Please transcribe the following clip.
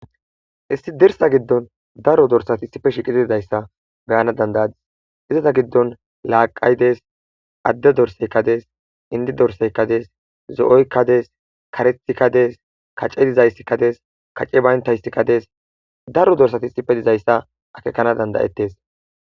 Issi dirssa giddon daro dorssati issippe shiiqidi dizaysa be7ana danda7os, dirssa giddon laaqay dees,adde dorssi dees,inddi dorssika dees,zo70yka dees karethika dees, kacadeyka dees kacey bayndaysika dees daro dorssati issipe dizaysa akeekakana danda7etees.